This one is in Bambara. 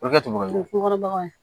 O bɛ kɛ tubabu nɔgɔ ye ko kɔrɔbaya ye